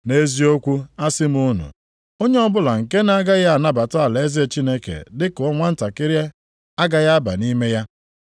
Nʼeziokwu asị m unu, onye ọbụla nke na-agaghị anabata alaeze Chineke dị ka nwantakịrị agaghị aba nʼime ya.”